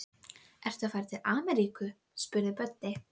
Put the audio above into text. Síðastnefndi staðurinn hefur reyndar orðið fyrir þungu áfalli.